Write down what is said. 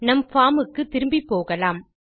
நம் பார்ம் க்குத் திரும்பிப்போகலாம்